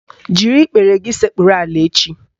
Jiri ikpere gị sekpuru ala echi